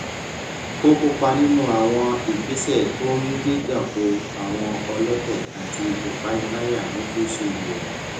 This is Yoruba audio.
ó kópa nínú àwọn ìgbésẹ tó ń gbéjà kò àwọn ọlọtẹ àti ìpániláyà ní gúúsù ìwò